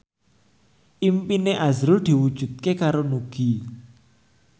impine azrul diwujudke karo Nugie